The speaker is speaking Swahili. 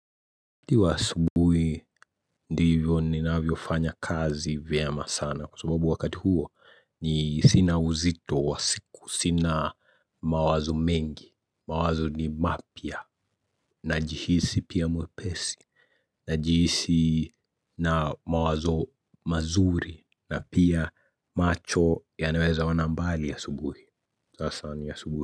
Ti wa asubuhi ndivyo ninavyofanya kazi vyema sana kwa sababu wakati huo ni sina uzito wa siku sina mawazo mengi mawazo ni mapya najihisi pia mwepesi najihisi na mawazo mazuri na pia macho yanaweza ona mbali asubuhi sasa ni asubuhi.